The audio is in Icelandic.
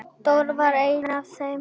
Dóri var einn af þeim.